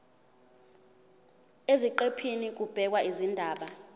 eziqephini kubhekwe izindaba